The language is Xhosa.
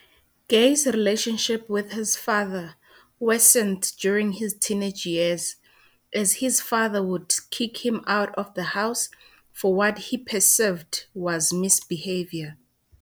Gaye's relationship with his father worsened during his teenage years as his father would kick him out of the house for what he perceived was misbehavior.